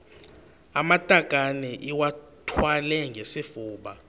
amatakane iwathwale ngesifuba